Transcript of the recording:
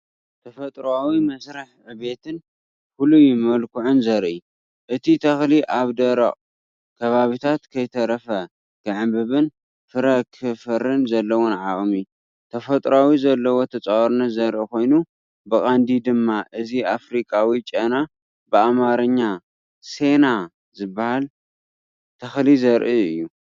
ተፈጥሮኣዊ መስርሕ ዕብየትን ፍሉይ መልክዑን ዘርኢ፣ እቲ ተኽሊ ኣብ ደረቕ ከባቢታት ከይተረፈ ክዕምብብን ፍረ ክፈሪን ዘለዎ ዓቕሚ፡ ተፈጥሮ ዘለዎ ተጻዋርነት ዘርኢ ኾይኑ ብቐንዱ ድማ እዚ ኣፍሪቃዊ ጨና ብኣማርኛ ሴና ዝበሃል ተኽሊ ዘርኢ እዩ።